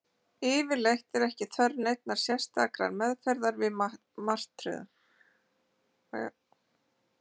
Hvirfilbyljir eru sjaldgæfir á Íslandi, og yfirleitt ekki svo ýkja öflugir þá sjaldan þeir verða.